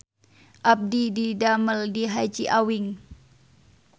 Abdi didamel di Haji Awing